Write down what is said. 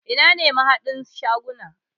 Ina ne mahadan shaguna?